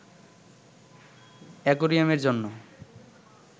অ্যাকোয়ারিয়ামের জন্য